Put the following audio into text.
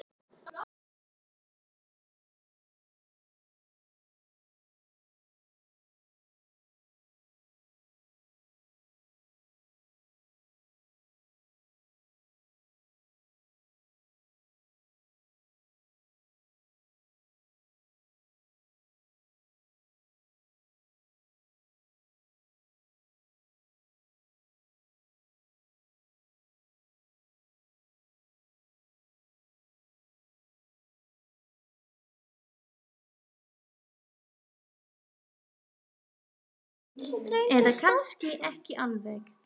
Eða kannski ekki alveg.